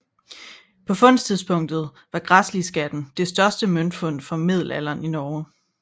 På fundtidspunktet var Græsliskatten det største møntfund fra middelalderen i Norge